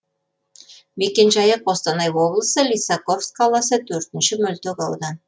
мекенжайы қостанай облысы лисаковск қаласы төртінші мөлтек аудан